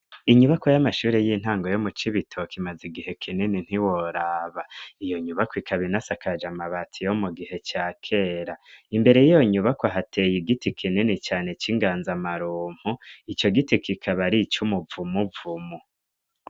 Inyubako y'amashure y'intango yo muco ibitoka imaze igihe kineni ntiworaba iyo nyubako ikabinasakaja amabati yo mu gihe ca kera imbere yiyo nyubako ahateye igiti kineni cane c'inganza amarumpu ico giti kikaba ari co umuvumuvumu.